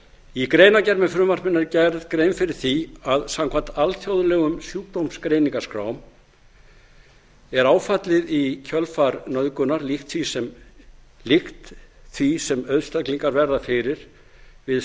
í greinargerð með frumvarpinu er gerð grein fyrir því að samkvæmt alþjóðlegum sjúkdómsgreiningaskrám er áfallið í kjölfar nauðgunar líkt því sem einstaklingar verða fyrir við